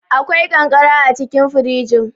Akwai ƙanƙara acikin firjin.